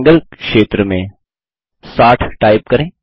कोण क्षेत्र में 60 टाइप करें